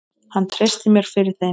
Hann treysti mér fyrir þeim.